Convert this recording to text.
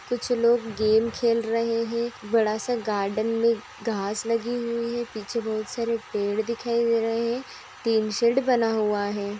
कुछ लोग गेम खेल रहे हैं | बड़ा सा गार्डन मे घास लगी हुइ है | पिछे बहुत सारे पेड़ दिखाई दे रहे हैं | टीन शेड बना हुआ है।